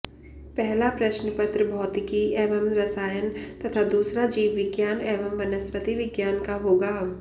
पहला प्रश्नपत्र भौतिकी एवं रसायन तथा दूसरा जीवविज्ञान एवं वनस्पति विज्ञान का होगा